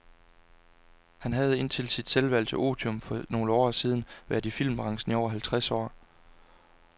Han havde indtil sit selvvalgte otium for nogle år siden været i filmbranchen i over halvtreds år.